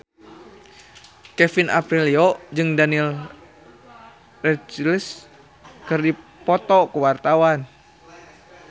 Kevin Aprilio jeung Daniel Radcliffe keur dipoto ku wartawan